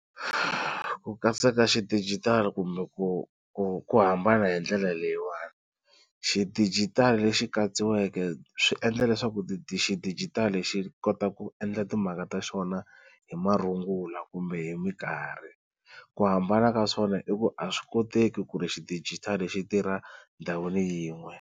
Ku katsa ka xidijitali kumbe ku ku ku hambana hi ndlela leyiwani, xidijitali lexi katsiweke swi endla leswaku xidijitali xi xi kota ku endla timhaka ta xona hi marungula kumbe hi minkarhi. Ku hambana ka swona i ku a swi koteki ku ri xidijitali xi tirha ndhawini yin'we.